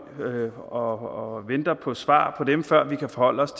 og venter på svar på dem før vi kan forholde os